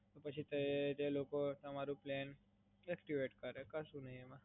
તો પછી તે લોકો તમારું પ્લાન એક્ટિવેટ કરે. કશું ના હોય એમાં.